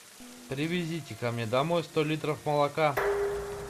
привезите ка мне домой сто литров молока